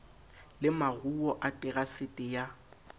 le maruo a terasete ya